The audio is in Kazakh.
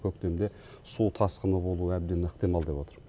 көктемде су тасқыны болуы әбден ықтимал деп отыр